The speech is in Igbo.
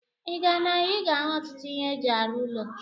Ị gaa n'ahịa, ị ga-ahụ ọtụtụ ihe eji arụ ụlọ.